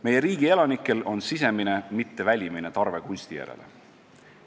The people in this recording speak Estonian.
Meie riigi elanikel on sisemine, mitte välimine tarve kunsti järele.